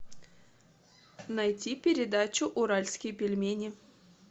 найти передачу уральские пельмени